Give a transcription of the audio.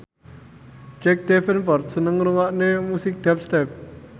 Jack Davenport seneng ngrungokne musik dubstep